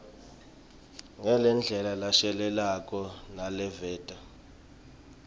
ngendlela leshelelako naleveta